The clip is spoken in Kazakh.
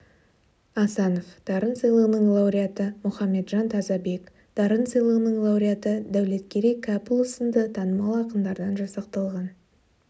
асанов дарын сыйлығының лауреаты мұхамеджан тазабек дарын сыйлығының лауреаты дәулеткерей кәпұлы сынды танымал ақындардан жасақталған